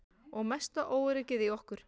Og mesta óöryggið í okkur.